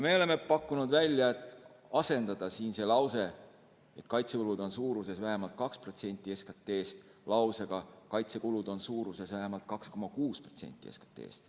Me oleme pakkunud välja asendada see lause, mille järgi kaitsekulud on vähemalt 2% SKT-st, lausega, mis ütleks, et kaitsekulud on vähemalt 2,6% SKT-st.